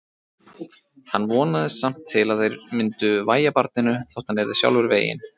Hann vonaðist samt til að þeir myndu vægja barninu þótt hann yrði sjálfur veginn.